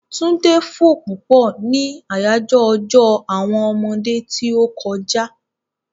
Túndé fò púpọ̀ ni àyájọ́ ọjọ́ àwọn ọmọdé tí ó kọjá.